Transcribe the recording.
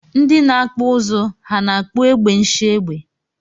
Ndi na akpụ ụzụ ha na akpụ egbe nshiegbe?